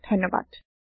দৰ্শন দিয়া বাবে ধণ্যবাদ